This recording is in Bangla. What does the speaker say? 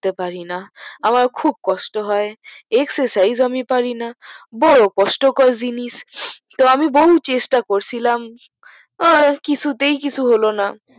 করতে পারেনা খুব কষ্ট হয় এক্সারসাইজ আমি পারিনা বহু কষ্ট কর জিনিস তো আমি বহু চেষ্টা করে ছিলাম এ কিছুতেই কিছু হলোনা